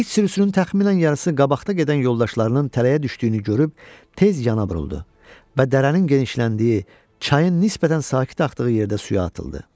İç sürüsünün təxminən yarısı qabaqda gedən yoldaşlarının tələyə düşdüyünü görüb tez yana buruldu və dərənin genişləndiyi, çayın nisbətən sakit axdığı yerdə suya atıldı.